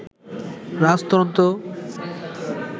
রাজতন্ত্র